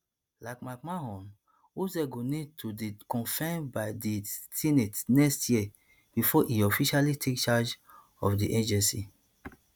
like mcmahon oz go need to dey confirmed by di senate next year bifor e officially take charge of di agency